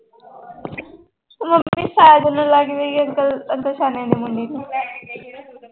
mummy Sajan ਨੂੰ ਲੱਗ ਰਹੀ ਹੈ